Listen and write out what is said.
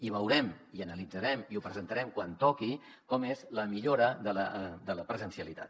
i veurem i analitzarem i ho presentarem quan toqui com és la millora de la presencialitat